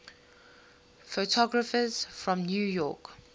photographers from new york